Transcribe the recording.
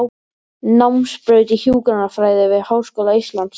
Námsbraut í hjúkrunarfræði við Háskóla Íslands.